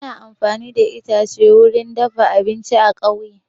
An fi amfani da itace wurin dafa abinci a ƙauye